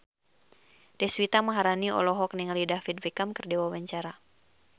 Deswita Maharani olohok ningali David Beckham keur diwawancara